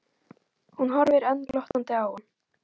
Hún horfir enn glottandi á hann.